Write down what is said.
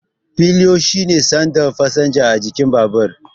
Pillion shine saddin fasinja a jikin babur.